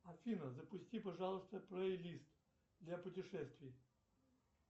афина запусти пожалуйста плейлист для путешествий